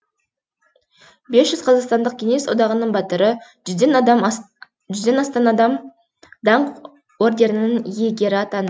бес жүз қазақстандық кеңес одағының батыры жүзден астам адам даңқ орденінің иегері атанды